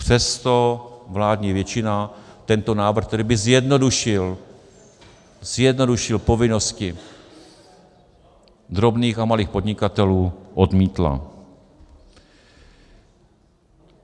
Přesto vládní většina tento návrh, který by zjednodušil - zjednodušil - povinnosti drobných a malých podnikatelů, odmítla.